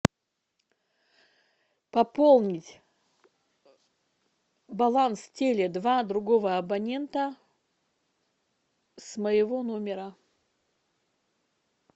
пополнить баланс теле два другого абонента с моего номера